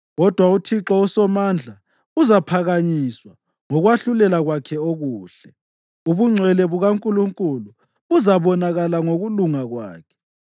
Kodwa uThixo uSomandla uzaphakanyiswa ngokwahlulela kwakhe okuhle; ubungcwele bukaNkulunkulu buzabonakala ngokulunga kwakhe.